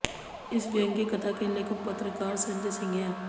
इस व्यंग्य कथा के लेखक पत्रकार संजय सिंह हैं